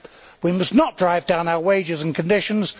We must not drive down our wages and conditions...